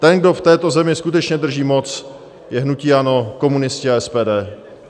Ten, kdo v této zemi skutečně drží moc, je hnutí ANO, komunisti a SPD.